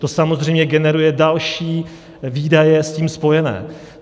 To samozřejmě generuje další výdaje s tím spojené.